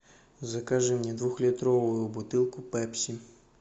закажи мне двухлитровую бутылку пепси